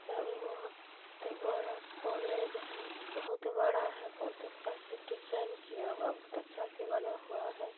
यह भी बहुत बड़ा कॉलेज है| बहुत बड़ा है बहुत अच्छा से डिज़ाइन किया हुआ है बहुत अच्छा से बना हुआ है।